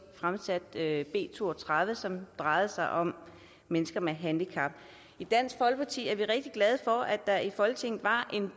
fremsatte b to og tredive som drejede sig om mennesker med handicap og i dansk folkeparti er vi rigtig glade for at der i folketinget var en